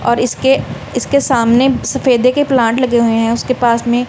और इसके इसके सामने सफेदे के प्लांट लगे हुए हैं उसके पास में--